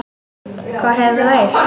Hvað hefur þú heyrt?